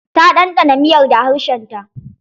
Ta ɗanɗana miyar da harshen ta.